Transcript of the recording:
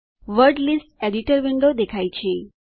word list editor window દેખાય છે